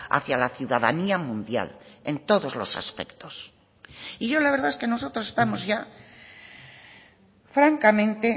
hacía la ciudadanía mundial en todos los aspectos y yo la verdad es que nosotros estamos ya francamente